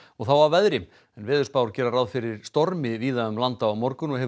þá að veðri en veðurspár gera ráð fyrir stormi víða um land á morgun og hefur